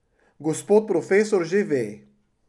Gospod profesor že ve.